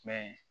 Fɛn